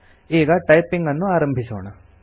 ಈಗ ಟೈಪಿಂಗ್ ಆರಂಭಿಸೋಣ